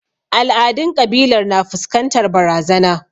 Al'adun kabilar na fuskantar barazana.